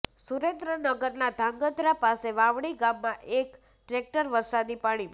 સુરેન્દ્રનગરના ધ્રાગ્રધા પાસે વાવણી ગામમાં એક ટ્રેક્ટર વરસાદી પાણીમાં